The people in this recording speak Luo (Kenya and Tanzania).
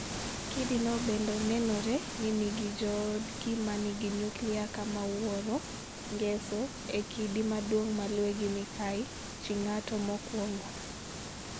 Kidino bende nenore ni nigi joodgi ma nigi nyuklia kama wuoro (Ngeso) e kidi maduong' maluwe gi Mikayi (chi ng'ato mokwongo),